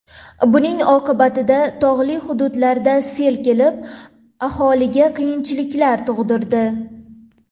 Buning oqibatida tog‘li hududlarda sel kelib, aholiga qiyinchiliklar tug‘dirdi.